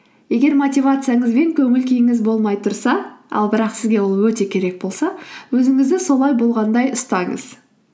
егер мотивацияңыз бен көңіл күйіңіз болмай тұрса ал бірақ сізге ол өте керек болса өзіңізді солай болғандай ұстаңыз